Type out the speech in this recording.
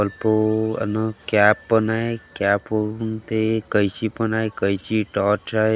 कपू अन् कॅप पण हाय कॅप उनते कैची पण हाय कैची टॉर्च हाय.